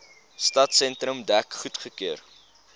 stadsentrum dek goedgekeur